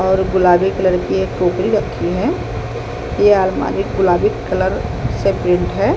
और गुलाबी कलर की एक टोकरी रखी है ये अलमारी गुलाबी कलर से प्रिंट है ।